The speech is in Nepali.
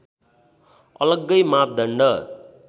अलग्गै मापदण्ड